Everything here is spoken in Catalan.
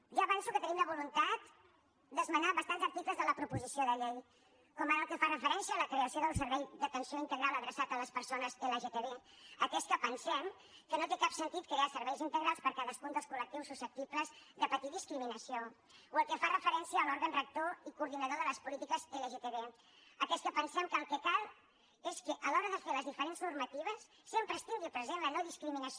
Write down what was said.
ja avanço que tenim la voluntat d’esmenar bastants articles de la proposició de llei com ara el que fa referència a la creació del servei d’atenció integral adreçat a les persones lgtb atès que pensem que no té cap sentit crear serveis integrals per a cadascun dels collectius susceptibles de patir discriminació o el que fa referència a l’òrgan rector i coordinador de les polítiques lgtb atès que pensem que el que cal és que a l’hora de fer les diferents normatives sempre es tingui present la nodiscriminació